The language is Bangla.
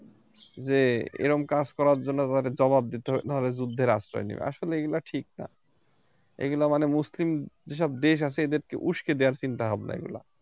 যে এরম কাজ করার জন্য তাদের জবাব দিতে হবে যুদ্ধের আশ্রয় নেবে আসলে এগুলো ঠিক না এগুলো মানে মুসলিম যেসব দেশ আছে এদেরকে উসকে দেবার চিন্তা ভাবনা এইগুলা